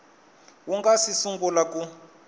wu nga si sungula ku